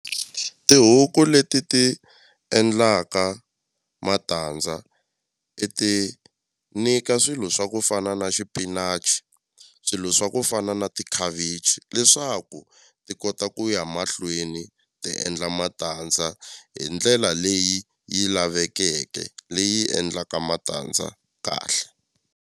Tihuku leti ti endlaka matandza i ti nyika swilo swa ku fana na xipinachi swilo swa ku fana na tikhavichi leswaku ti kota ku ya mahlweni ti endla matandza hi ndlela leyi yi lavekeke leyi endlaka matandza kahle.